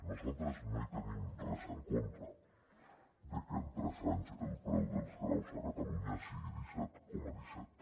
nosaltres no hi tenim res en contra de que en tres anys el preu dels graus a catalunya sigui disset coma set